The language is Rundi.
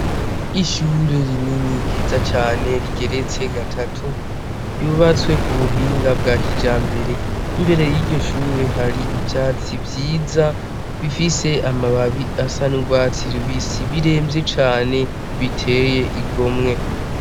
Ishure rinini ryiza cane rigeretse kabiri ryubatswe kubuhinga bwakijambere, imbere yiryo shure har' ivyatsi vyiza bisa n' urwatsi rubisi bitotahaye.